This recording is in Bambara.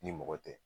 Ni mɔgɔ tɛ